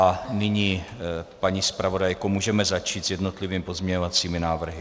A nyní, paní zpravodajko, můžeme začít s jednotlivými pozměňovacími návrhy.